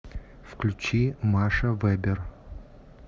включи маша вебер